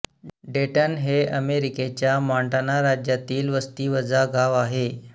डेटन हे अमेरिकेच्या मॉंटाना राज्यातील वस्तीवजा गाव आहे